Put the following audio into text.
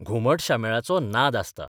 घुमट शामेळाचो नाद आसता.